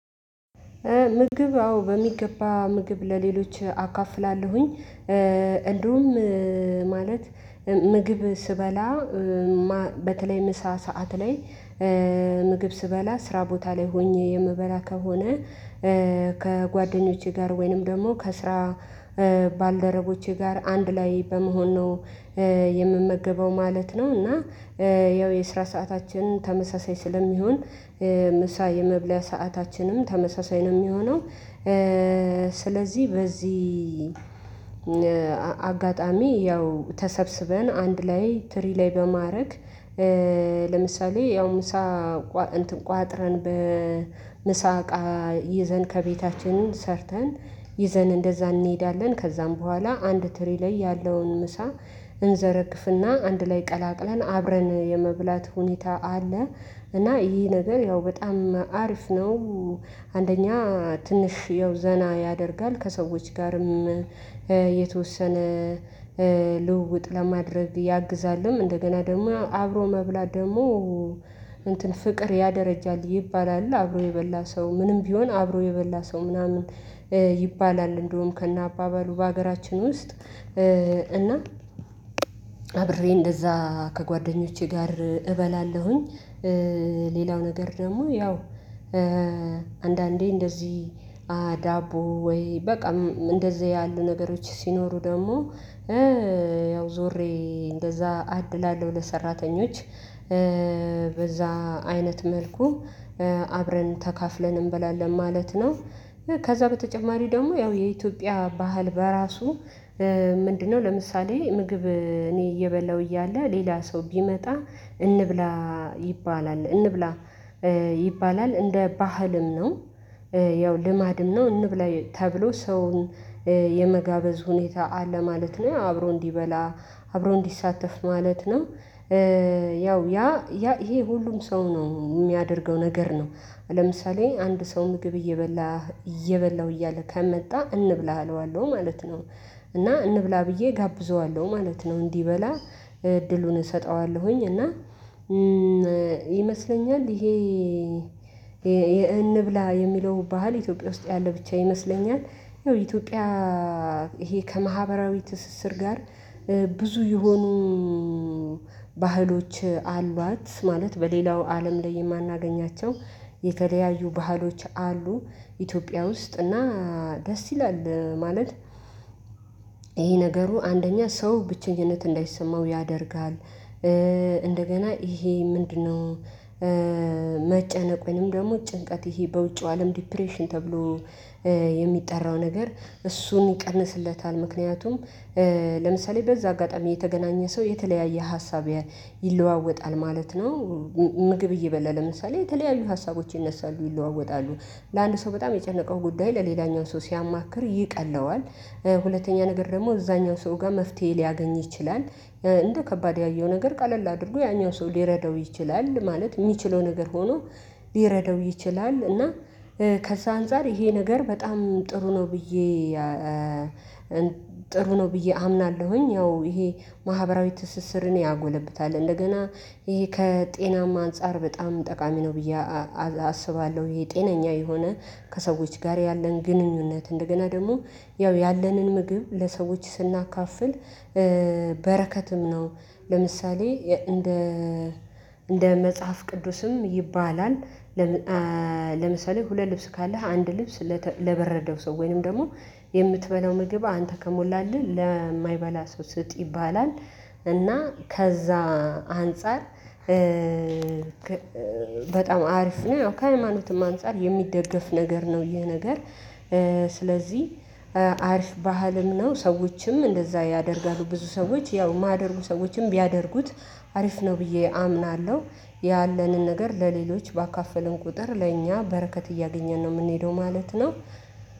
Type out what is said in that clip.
ምግብ አዎ በሚገባ ምግብ ለሌሎች አካፍላለሁኝ እንደውም ማለት ምግብ ስበላ በተለይ ምሳ ሰዓት ላይ ምግብ ስራ ቦታ ላይ ሆኜ የምበላ ከሆነ ከጓደኞቼ ጋር ወይንም ደግሞ ከስራ ባልደረቦቼ ጋር አንድ ላይ በመሆን ነው የምመገበው ማለት ነው እና ያው የስራ ሰዓታችን ተመሳሳይ ስለሚሆን ምሳ የመብለያ ሰአታችንም ተመሳሳይ ነው የሚሆነው ስለዚህ በዚህ አጋጣሚ ያው ተሰብስበን አንድ ላይ ትሪ ላይ በማድረግ ለምሳሌ ያው ምሳ እንትን ቋጥረን በምሳ እቃ ይዘን ከቤታችን ሰርተን ይዘን እንደዛ እንሄዳለን ከዛም በኋላ አንድ ትሪ ላይ ያለውን ምሳ እንዘረግፍና አንድ ላይ ቀላቅለን አብረን የመብላት ሁኔታ አለ እና ይሄ ነገር ያው በጣም አሪፍ ነው አንደኛ ትንሽ ያው ዘና ያደርጋል ከሰዎች ጋርም የተወሰነ ልውውጥ ለማድረግ ያግዛልም እንደገና ደግሞ አብሮ መብላት ደግሞ እንትን ፍቅር ያደረጃል ይባላል አብሮ የበላ ሰው ምንም ቢሆን አብሮ የበላ ሰው ምናምን ይባላል እንደውም ከነአባበሉ በሀገራችን ውስጥ እና አብሬ እንደዛ ከጓደኞቼ ጋር እበላለሁኝ። ሌላው ነገር ደግሞ ያው አንዳንዴ እንደዚህ ዳቦ ወይ በቃ እንደዚህ ያሉ ነገሮች ሲኖሩ ደግሞ ያው ዞሬ እንደዛ አድላለሁ ለሰራተኞች በዛ አይነት መልኩ አብረን ተካፍለን እንበላለን ማለት ነው። ከዛ በተጨማሪ ደግሞ ያው የኢትዮጵያ ባህል በራሱ ምንድነው ለምሳሌ ምግብ እኔ እየበላሁ እያለ ሌላ ሰው ቢመጣ እንብላ ይባላል እንብላ ይባላል እንደ ባህልም ነው ያው ልማድም ነው እንብላ ተብሎ ሰውን የመጋበዝ ሁኔታ አለ ማለት ነው። አብሮ እንዲበላ አብሮ እንዲሳተፍ ማለት ነው ያው ያ ያ ይሄ ሁሉም ሰው ነው የሚያደርገው ነገር ነው ለምሳሌ አንድ ሰው ምግብ እየበላ እየበላው እያለ ከመጣ እንብላ አለዋለሁ ማለት ነው እና እንብላ ብዬ እጋብዘዋለሁ ማለት ነው። እንዲህ በላ እድሉን እሰጠዋለሁኝ እና ይመስለኛል ይሄ እንብላ የሚለው ባህል ኢትዮጵያ ውስጥ ያለ ብቻ ይመስለኛል። ይኸው ኢትዮጵያ ይሄ ከማህበራዊ ትስስር ጋር ብዙ የሆኑ ባህሎች አሏት ማለት በሌላው አለም ላይ የማናገኛቸው የተለያዩ ባህሎች አሉ። ኢትዮጵያ ውስጥ እና ደስ ይላል ማለት ይሄ ነገሩ አንደኛ ሰው ብቸኝነት እንዳይሰማው ያደርጋል። እንደገና ይሄ ምንድነው መጨነቅ ወይንም ደግሞ ጭንቀት ይሄ በውጪው አለም ዲፕሬሽን ተብሎ የሚጠራው ነገር እሱን ይቀንስለታል ምክንያቱም ለምሳሌ በዛ አጋጣሚ የተገናኘ ሰው የተለያየ ሀሳብ ይለዋወጣል ማለት ነው። ምግብ እየበላ ለምሳሌ የተለያዩ ሀሳቦች ይነሳሉ ይለዋወጣሉ ለአንድ ሰው በጣም የጨነቀው ጉዳይ ለሌላኛው ሰው ሲያማክር ይቀለዋል። ሁለተኛ ነገር ደግሞ እዛኛው ሰው ጋር መፍትሄ ሊያገኝ ይችላል እንደ ከባድ ያየው ነገር ቀለል አድርጎ ያኛው ሰው ሊረዳው ይችላል ማለት የሚችለው ነገር ሆኖ ሊረዳው ይችላል እና ከዚህ አንፃር ይሄ ነገር በጣም ጥሩ ነው። ብዬ ጥሩ ነው ብዬ አምናለሁኝ ያው ይሄ ማህበራዊ ትስስርን ያጎለብታል እንደገና ይሄ ከጤናም አንፃር በጣም ጠቃሚ ነው ብዬ አስባለሁ። ጤነኛ የሆነ ከሰዎች ጋር ያለን ግንኙነት እንደገና ደግሞ ያው ያለንን ምግብ ለሰዎች ስናካፍል በረከትም ነው ለምሳሌ እንደ መጽሐፍ ቅዱስም ይባላል። ለምሳሌ ሁለት ልብስ ካለህ አንድ ልብስ ለበረደው ሰው ወይንም ደግሞ የምትበላው ምግብ አንተ ከሞላልህ ለማይበላ ሰው ስጥ ይባላል። እና ከዛ አንፃር በጣም አሪፍ ነው ከሃይማኖትም አንፃር የሚደገፍ ነገር ነው ይሄ ነገር። ስለዚህ አሪፍ ባህልም ነው ሰዎችም እንደዛ ያደርጋሉ ብዙ ሰዎች ያው የማያደርጉ ሰዎችም ቢያደርጉት አሪፍ ነው ብዬ አምናለሁ። ያለንን ነገር ለሌሎች ባካፈለን ቁጥር ለእኛ በረከት እያገኘን ነው የምንሄደው ማለት ነው።